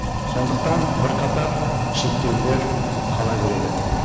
сондықтан бірқатар шектеулер қала береді